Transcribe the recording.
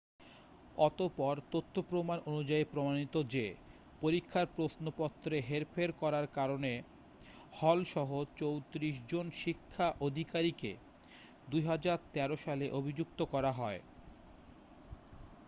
অতঃপর তথ্য প্রমাণ অনুযায়ী প্রমাণিত যে, পরীক্ষার প্রশ্নপত্রে হেরফের করারকারণে হল-সহ 34 জন শিক্ষা আধিকারিককে 2013 সালে অভিযুক্ত করা হয়।